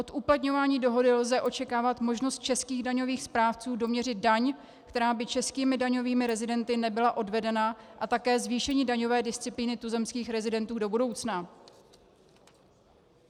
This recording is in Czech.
Od uplatňování dohody lze očekávat možnost českých daňových správců doměřit daň, který by českými daňovými rezidenty nebyla odvedena, a také zvýšení daňové disciplíny tuzemských rezidentů do budoucna.